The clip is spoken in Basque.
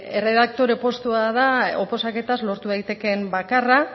erredaktore postua da oposaketaz lortu daitekeen bakarra